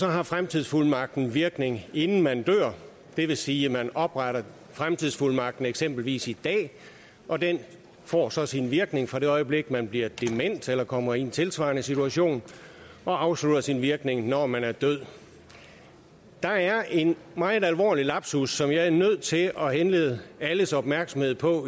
har fremtidsfuldmagten virkning inden man dør det vil sige at man opretter fremtidsfuldmagten eksempelvis i dag og den får så også en virkning fra det øjeblik man bliver dement eller kommer i en tilsvarende situation og afslutter sin virkning når man er død der er en meget alvorlig lapsus som jeg er nødt til at henlede alles opmærksomhed på